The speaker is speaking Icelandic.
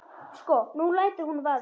Sko. nú lætur hún vaða.